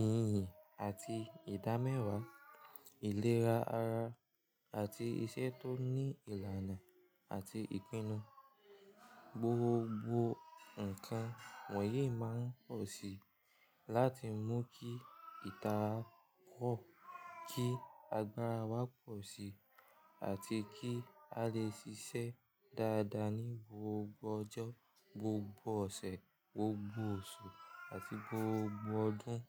ìhìhìn àti ìdámẹ́wàá, ìlera ara àti iṣẹ́ tó ní ìlànà àti ìpinnu. Gbogbo nǹkan wọ̀nyí máa ń pọ̀ sí i láti mú kí ìtara pọ̀, kí agbára wa pọ̀ si àti kí a lè ṣiṣẹ́ dáadáa ní gbogbo ọjọ́, gbogbo ọ̀sẹ̀, gbogbo oṣù àti gbogbo ọdún.